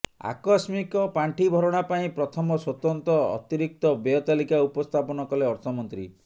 ଆକସ୍ମିକ ପାଣ୍ଠି ଭରଣା ପାଇଁ ପ୍ରଥମ ସ୍ୱତନ୍ତ୍ର ଅତିରିକ୍ତ ବ୍ୟୟ ତାଲିକା ଉପସ୍ଥାପନ କଲେ ଅର୍ଥମନ୍ତ୍ରୀ